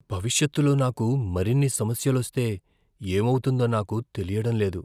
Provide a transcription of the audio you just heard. భవిష్యత్తులో నాకు మరిన్ని సమస్యలొస్తే ఏమౌతుందో నాకు తెలియడం లేదు.